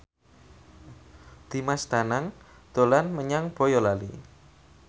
Dimas Danang dolan menyang Boyolali